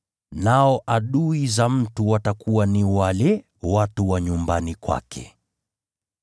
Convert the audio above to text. nao adui za mtu watakuwa ni wale watu wa nyumbani kwake.’